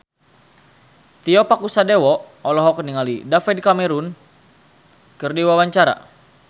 Tio Pakusadewo olohok ningali David Cameron keur diwawancara